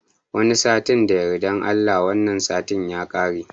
Wani satin da yardan Allah, wannan satin ya kare.